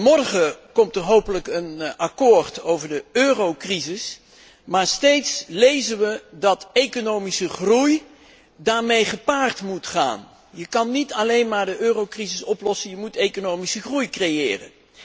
Morgen komt er hopelijk een akkoord over de eurocrisis, maar steeds lezen we dat daarmee economische groei gepaard moet gaan. Je kunt niet alleen maar de eurocrisis oplossen, je moet economische groei creëren.